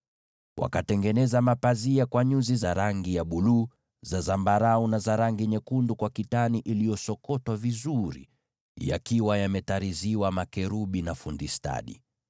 Wakatengeneza pazia la nyuzi za rangi ya buluu, za zambarau, na za rangi nyekundu na kitani safi iliyosokotwa vizuri, naye fundi stadi akatirizi makerubi kwenye hilo pazia.